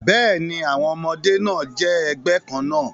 Bẹ́ẹ̀ni, àwọn ọmọdé náà jẹ́ ẹgbẹ́ kan náà